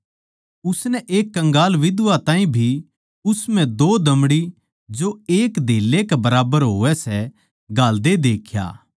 उसनै एक कंगाल बिधवा ताहीं भी उस म्ह दो दमड़ी जो एक धेले कै बराबर होवै सै घालदे देख्या